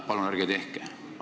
Palun ärge tehke!